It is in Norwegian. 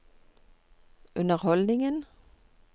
underholdningen